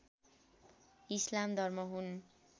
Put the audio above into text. इस्लाम धर्म हुन्